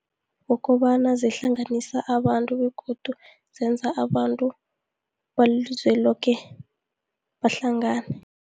Kukobana zihlanganisa abantu begodu zenza abantu balelizwe loke bahlangane.